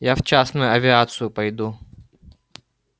я в частную авиацию пойду